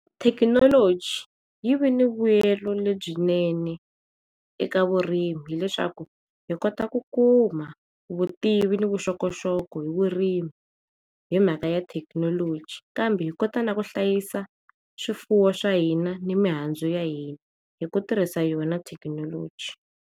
Thekinoloji yi ve na mbuyela lebyi swinene eka vurimi hileswaku hi kotaku ku kuma vutivi ni vuxokoxoko hi ririmi himhaka ya thekinoloji kambe hikota na ku hlayisa swifuwo swa hina ni mi mihandzu ya hina hi ku tirhisa yona thekinoloji.